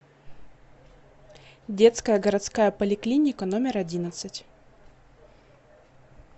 детская городская поликлиника номер одиннадцать